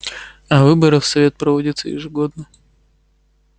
а выборы в совет проводятся ежегодно